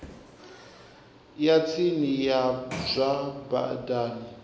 ya tsini ya zwa badani